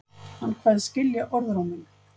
Hann kveðst skilja orðróminn